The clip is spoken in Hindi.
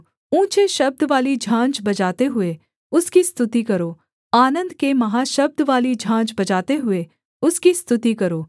ऊँचे शब्दवाली झाँझ बजाते हुए उसकी स्तुति करो आनन्द के महाशब्दवाली झाँझ बजाते हुए उसकी स्तुति करो